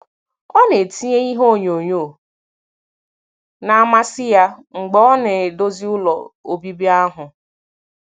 Ọ na-etinye ihe onyonyo na - amasị ya mgbe ọ na - edozi ụlọ obibi ahụ.